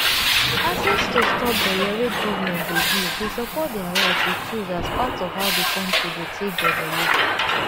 access to stop belle wey government dey give dey support their right to choose as part of how the country go take develop.